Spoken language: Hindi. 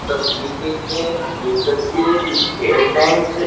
तस्वीर देखते हैं ये तस्वीर एक स्टेट बैंक --